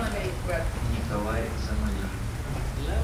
николай замалиев